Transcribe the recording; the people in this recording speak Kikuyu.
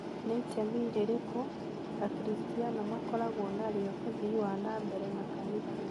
Ni itemi rĩrĩkũ Akristiano makoragwo narĩo uthiĩ wa na mbere makanitha?